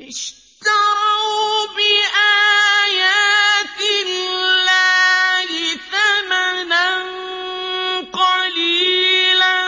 اشْتَرَوْا بِآيَاتِ اللَّهِ ثَمَنًا قَلِيلًا